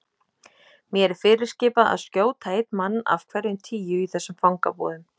Mér er fyrirskipað að skjóta einn mann af hverjum tíu í þessum fangabúðum.